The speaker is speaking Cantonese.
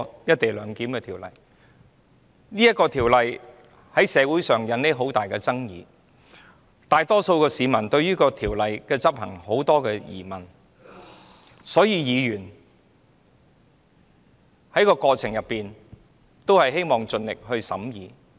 這項《條例草案》在社會引起重大爭議，大多數市民對條例的執行有很多疑問，所以議員希望在過程中盡力做好審議工作。